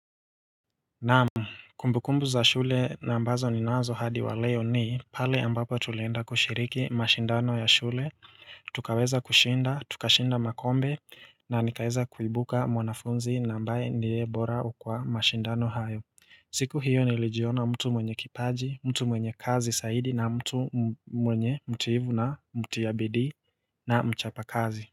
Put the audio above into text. Naam kumbukumbu za shule nambazo ninazo hadi wa leo ni pale ambapo tulienda kushiriki mashindano ya shule tukaweza kushinda tukashinda makombe na nikaeza kuibuka mwanafunzi na ambaye ndiye bora kwa mashindano hayo siku hiyo nilijiona mtu mwenye kipaji mtu mwenye kazi saidi na mtu mwenye mtuivu na mutia bidi na mchapa kazi.